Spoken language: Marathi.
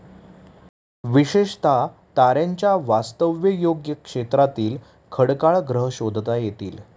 विशेषतः ताऱ्यांच्या वास्तव्ययोग्य क्षेत्रातील खडकाळ ग्रह शोधता येतील.